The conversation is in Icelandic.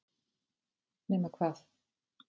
nema hvað